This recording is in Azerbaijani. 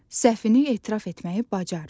Səhvini etiraf etməyi bacar.